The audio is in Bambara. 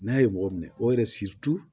N'a ye mɔgɔ minɛ o yɛrɛ